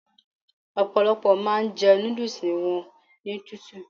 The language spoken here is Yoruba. Ọ̀pọ̀lọ́pọ̀ máa ń jẹ núdúúsù wọn ní tútù